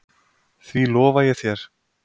Því lofa ég þér